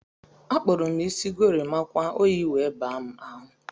Akpuru m isi gorimakwa oyi wee baa m ahụ.